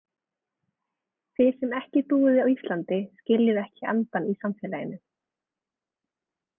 Þið sem ekki búið á Íslandi skiljið ekki andann í samfélaginu.